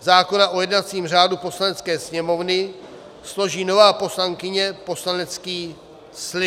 zákona o jednacím řádu Poslanecké sněmovny složí nová poslankyně poslanecký slib.